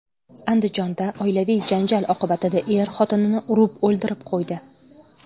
Andijonda oilaviy janjal oqibatida er xotinini urib o‘ldirib qo‘ydi.